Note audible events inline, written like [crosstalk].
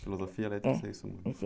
Filosofia, [unintelligible]